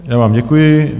Já vám děkuji.